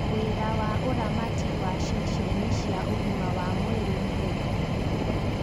Wĩra wa ũramati wa ceceni cia ũgima wa mwĩrĩ nĩ ũrĩkũ